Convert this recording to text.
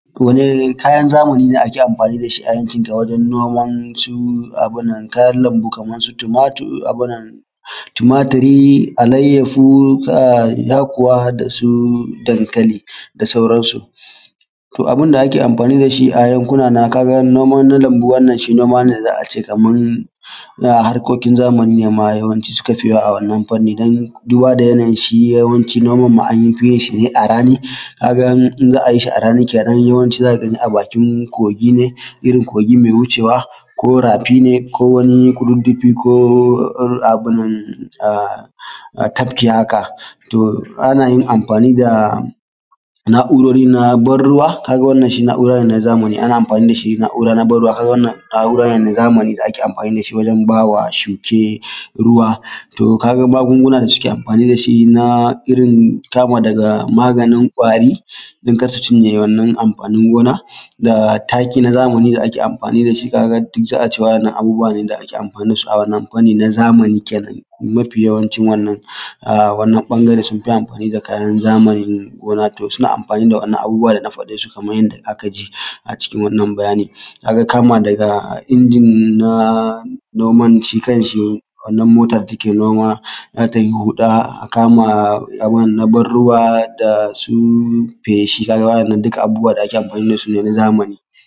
Kayan zamani da ake amfani da shi a waje noma su kayan lambu kamar su tumaturi alaiyahu da yakuwa da su dankali da sauransu abun da ake amfani da su a wajen noman lambu shi ne noma ne za a ce kamar na harkokin zamani ma suka fi yawa a wannan fanni don duba da yanayi shi yawanci noma ma an fi yin a rani ga ai in za a yi shi a rani yawanci za ka gani a bakin kogi ne irin kogi mai wucewa ko rafi ne ko wani kududdufi ko abun nan ko tafki hakato ana yin amfani da na'urori na ban ruwa, wannan shi na'ura ne na zamani ana amfani da shi na'ura na ban ruwa wannan na'ura ne na Zamani da ake amfani shi wajen ba wa shuke ruwa to ka ga magunguna suke amfani da shi na irin kama dafa maganin ƙwari don kar su cinye wannan amfanin gona da taki na zamani da ake amfani da shi duk za a ce abubuwa ne da ake amfani da su a wannan na zamani kenan a mafi yawancin wannan. Wannan bangaren sun fi amfani da kayan zamani na gona to suna amfani da abubuwa da na faɗe su kamar yadda aka ji a cikin wannan bayani. Ka ga kama daga injin na noma shi kanshi wannan mota da take noma za ta yi huɗa a kama na ban ruwa da su feshi haka duka abubuwa da ake amfani da su ne na zamani